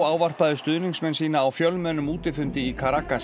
ávarpaði stuðningsmenn sína á fjölmennum útifundi í